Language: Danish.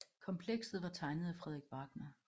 Komplekset var tegnet af Frederik Wagner